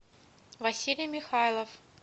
василий михайлов